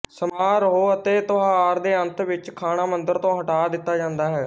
ਸਮਾਰੋਹ ਅਤੇ ਤਿਉਹਾਰ ਦੇ ਅੰਤ ਵਿੱਚ ਖਾਣਾ ਮੰਦਰ ਤੋਂ ਹਟਾ ਦਿੱਤਾ ਜਾਂਦਾ ਹੈ